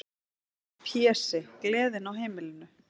Pési, gleðin á heimilinu.